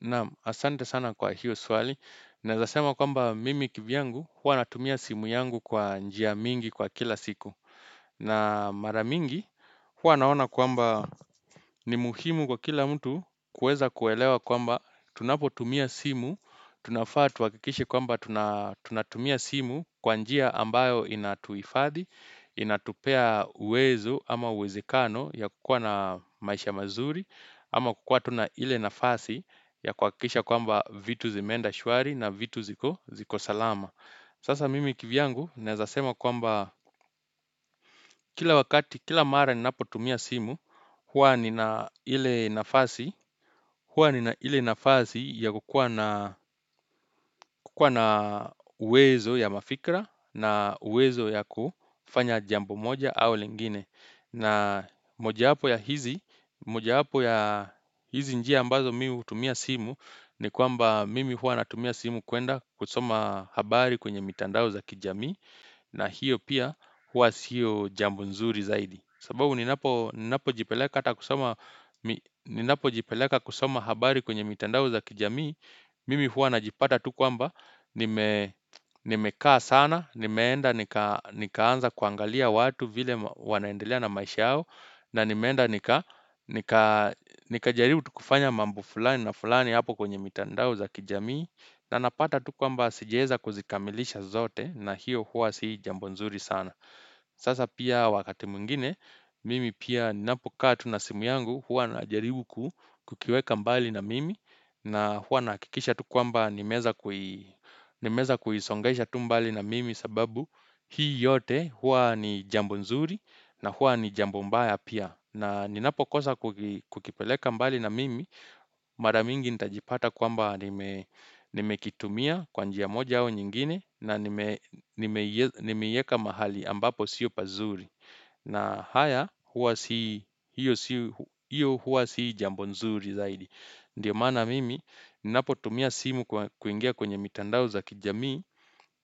Naam, asante sana kwa hiyo swali. Naweza sema kwamba mimi kivyangu, huwa natumia simu yangu kwa njia mingi kwa kila siku. Na mara mingi, huwa naona kwamba ni muhimu kwa kila mtu kuweza kuelewa kwamba tunapotumia simu, tunafaa tuhakikishe kwamba tunatumia simu kwa njia ambayo inatuhifadhi, inatupea uwezo ama uwezekano ya kukuwa na maisha mazuri, ama kukuwa tu na ile nafasi ya kuhakikisha kwamba vitu zimeenda shwari na vitu ziko salama Sasa mimi kivyangu naweza sema kwamba kila wakati kila mara ninapo tumia simu, huwa nina huwa nina ile nafasi ya kukuwa na uwezo ya mafikra na uwezo ya kufanya jambo moja au lingine na mojawapo ya hizi, mojawapo ya hizi njia ambazo mimi hutumia simu ni kwamba mimi huwa natumia simu kuenda kusoma habari kwenye mitandao za kijamii na hiyo pia huwa sio jambo nzuri zaidi. Sababu ninapo jipeleka kusoma habari kwenye mitandao za kijamii mimi huwa najipata tu kwamba nimekaa sana nimeenda nikaanza kuangalia watu vile wanaendelea na maisha yao na nimeenda nikajaribu tu kufanya mambo fulani na fulani hapo kwenye mitandao za kijamii na napata tu kwamba sijaweza kuzikamilisha zote na hiyo huwa si jambo nzuri sana Sasa pia wakati mwingine mimi pia ninapokaa tu na simu yangu huwa najaribu kukiweka mbali na mimi na huwa nahakikisha tu kwamba nimeweza kuisongesha tu mbali na mimi sababu hii yote huwa ni jambo nzuri na huwa ni jambo mbaya pia. Na ninapo kosa kukipeleka mbali na mimi, mara mingi nitajipata kwamba nimekitumia kwa njia moja au nyingine na nimeieka mahali ambapo sio pazuri. Na haya, huwa si, hiyo huwa si jambo nzuri zaidi. Ndiyo maana mimi, ninapotumia simu kwa kuingia kwenye mitandao za kijamii.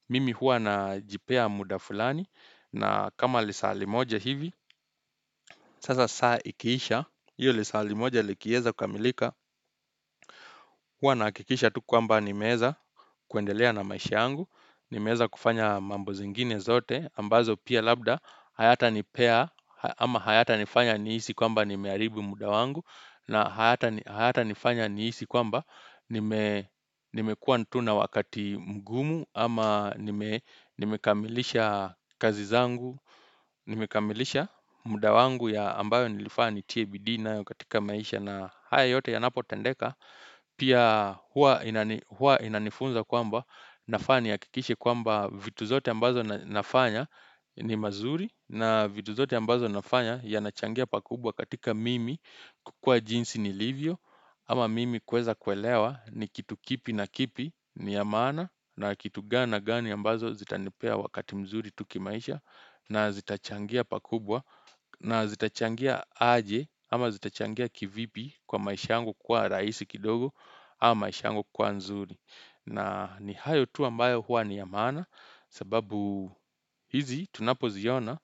Mimi huwa najipea muda fulani na kama lisali moja hivi, sasa saa ikiisha. Hiyo lisalimoja likiweza kukamilika. Huwa nahakikisha tu kwamba nimeweza kuendelea na maisha yangu. Nimeweza kufanya mambo zingine zote ambazo pia labda. Hayata nipea ama hayata nifanya nihisi kwamba nimeharibu muda wangu. Na hayata nifanya niisi kwa mba nimekuwa tu na wakati mgumu. Ama nimekamilisha kazi zangu, nimekamilisha muda wangu ya ambayo nilifaa nitie bidii nayo katika maisha na haya yote yanapotendeka. Pia huwa inanifunza kwamba nafaa nihakikishe kwamba vitu zote ambazo nafanya ni mazuri na vitu zote ambazo nafanya yanachangia pakubwa katika mimi kukuwa jinsi nilivyo Ama mimi kuweza kuelewa ni kitu kipi na kipi ni ya maana na kitu gani na gani ambazo zitanipea wakati mzuri tu ki maisha na zitachangia pakubwa na zitachangia aje ama zitachangia kivipi kwa maisha yangu kuwa rahisi kidogo ama maisha yangu kuwa nzuri. Na ni hayo tu ambayo huwa ni ya maana sababu hizi tunapoziona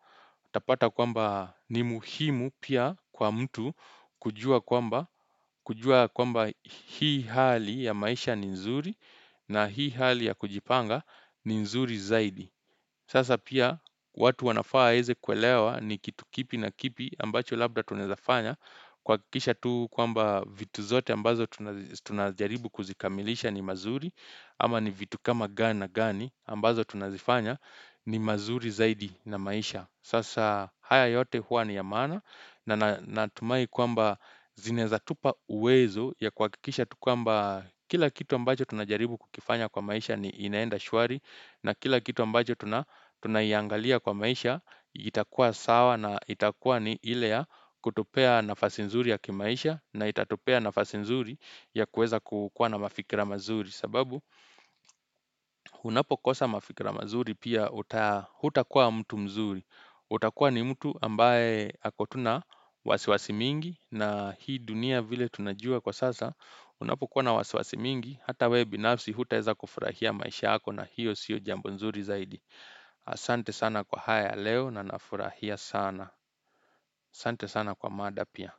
utapata kwamba ni muhimu pia kwa mtu kujua kwamba hii hali ya maisha ni nzuri na hii hali ya kujipanga ni nzuri zaidi. Sasa pia watu wanafaa waeze kuelewa ni kitu kipi na kipi ambacho labda tunaweza fanya kuhakikisha tu kwamba vitu zote ambazo tunajaribu kuzikamilisha ni mazuri ama ni vitu kama gani na gani ambazo tunazifanya ni mazuri zaidi na maisha. Sasa haya yote huwa ni ya maana na natumai kwamba zinaweza tupa uwezo ya kuhakikisha tu kwamba kila kitu ambacho tunajaribu kukifanya kwa maisha ni inaenda shwari na kila kitu ambacho tunaiangalia kwa maisha itakuwa sawa na itakuwa ni ile ya kutupea nafasi nzuri ya kimaisha na itatupea nafasi nzuri ya kuweza kukuwa na mafikira mazuri. Sababu unapokosa mafikra mazuri pia hutakuwa mtu mzuri, utakuwa ni mtu ambaye ako tu na wasiwasi mingi na hii dunia vile tunajua kwa sasa unapokuwa na wasiwasi mingi hata wewe binafsi hutaweza kufurahia maisha yako na hiyo sio jambo nzuri zaidi Asante sana kwa haya ya leo na nafurahia sana Asante sana kwa mada pia.